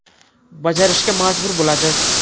Bajarishga majbur bo‘ladi.